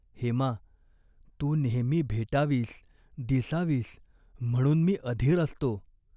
हेमा, तू नेहमी भेटावीस, दिसावीस म्हणून मी अधीर असतो.